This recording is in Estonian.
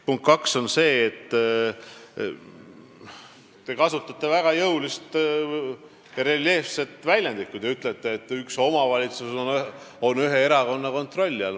Punkt kaks, te kasutate väga jõulist ja reljeefset väljendusviisi, kui te ütlete, et üks omavalitsus on ühe erakonna kontrolli all.